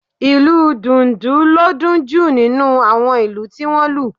Ìlù Dùndu ló dún jù nínú àwọn ìlù tí wọ́n lù